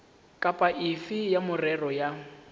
kapa efe ya merero ya